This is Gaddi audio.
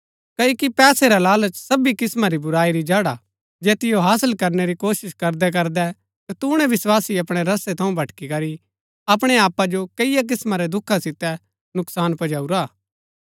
क्ओकि पैसै रा लालच सबी किस्‍मां री बुराई री जड़ हा जैतिओ हासल करनै री कोशिश करदैकरदै कतूणैं विस्वासी अपणै रस्तै थऊँ भटकी करी अपणै आपा जो कैईआ किस्‍मां रै दुखा सितै नुकसान पजाऊरा हा